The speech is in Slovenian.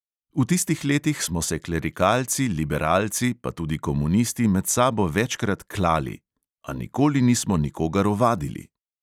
V tistih letih smo se klerikalci, liberalci pa tudi komunisti med sabo večkrat "klali", a nikoli nismo nikogar ovadili.